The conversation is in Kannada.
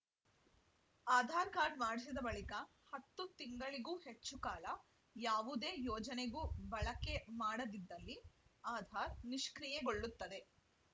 ಆಧಾರ್‌ ಕಾರ್ಡ್‌ ಮಾಡಿಸಿದ ಬಳಿಕ ಹತ್ತು ತಿಂಗಳಿಗೂ ಹೆಚ್ಚು ಕಾಲ ಯಾವುದೇ ಯೋಜನೆಗೂ ಬಳಕೆ ಮಾಡದಿದ್ದಲ್ಲಿ ಆಧಾರ್‌ ನಿಷ್ಕ್ರಿಯೆ ಗೊಳ್ಳುತ್ತದೆ